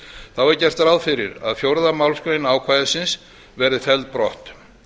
þá er gert ráð fyrir að fjórðu málsgrein ákvæðisins verði felld brott